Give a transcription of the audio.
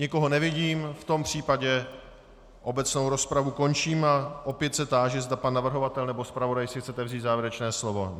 Nikoho nevidím, v tom případě obecnou rozpravu končím a opět se táži, zda pan navrhovatel nebo zpravodaj si chcete vzít závěrečné slovo.